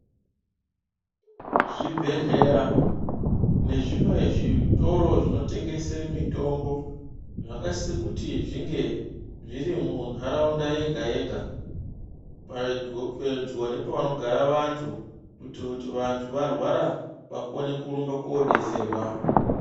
Zvibhedhlera nezvimwe zvitoro zvinotengesa mitombo zvakasise kuti zvinge zviri muntaraunta yega yega pedhgo pedyo nepanogara vantu kuitire kuti vantu varwara vakone kurumbe kodetserwa.